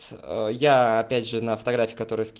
я опять же на фотографии